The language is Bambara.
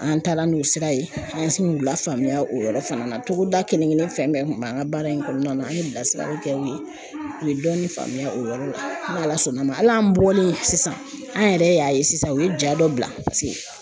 An taara n'o sira ye an sin u lafaamuya o yɔrɔ fana na togoda kelen kelen fɛn bɛɛ kun b'an ka baara in kɔnɔna na an ye bilasiraliw kɛ u ye u ye dɔɔni faamuya o yɔrɔ la n'Ala sɔnn'a ma hali an bɔlen sisan an yɛrɛ y'a ye sisan u ye ja dɔ bila paseke